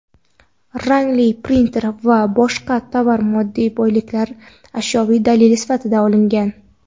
rangli printer va boshqa tovar-moddiy boyliklar ashyoviy dalil sifatida olingan.